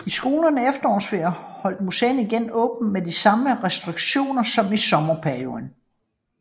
I skolernes efterårsferie holdt museet igen åbent med de samme restriktioner som i sommerperioden